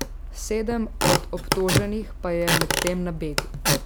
Sedem od obtoženih pa je medtem na begu.